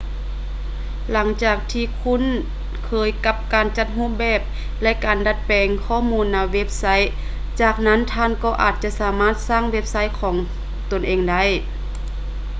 ຫຼັງຈາກທີ່ທ່ານຄຸ້ນເຄີຍກັບການຈັດຮູບແບບ ແລະ ການດັດແປງຂໍ້ມູນໃນເວບໄຊ ຈາກນັ້ນທ່ານກໍອາດຈະສາມາດສ້າງເວັບໄຊຂອງຕົນເອງໄດ້